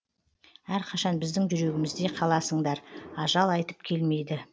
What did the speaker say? әрқашан біздің жүрегімізде қаласыңдар ажал айтып келмейді